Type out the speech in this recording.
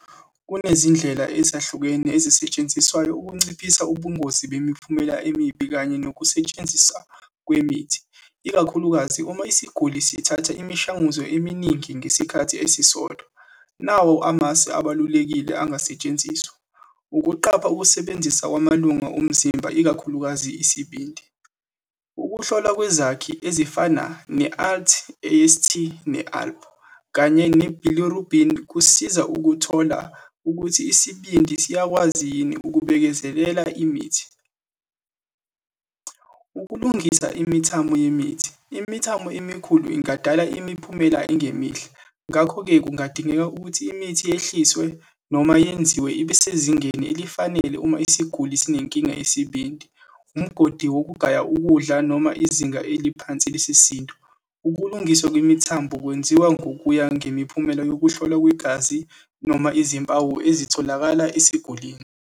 Kunezindlela ezahlukene ezisetshenziswayo ukunciphisa ubungozi bemiphumela emibi kanye nokusetshenziswa kwemithi, ikakhulukazi uma isiguli sithatha imishanguzo eminingi ngesikhathi esisodwa. Nawo amasu abalulekile angasetshenziswa. Ukuqapha ukusebenzisa kwamalunga omzimba, ikakhulukazi isibindi. Ukuhlolwa kwezakhi ezifana ne-alt ast, ne-alp, kanye ne-bilirubin, kusiza ukuthola ukuthi isibindi siyakwazi yini ukubekezelela imithi. Ukulungisa imithamo yemithi, imithamo emikhulu ingadala imiphumela engemihle, ngakho-ke kungadingeka ukuthi imithi yehliswe, noma yenziwe ibesezingeni elifanele uma isiguli sinenkinga yesibindi, umgodi wokugaya ukudla, noma izinga eliphansi lesisindo. Ukulungiswa kwemithambo kwenziwa ngokuya ngemiphumela yokuhlolwa kwegazi, noma izimpawu ezitholakala esigulini.